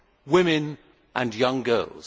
Women and young girls.